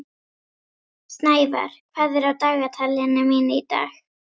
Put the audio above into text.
Snævar, hvað er á dagatalinu mínu í dag?